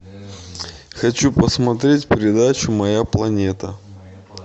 хочу посмотреть передачу моя планета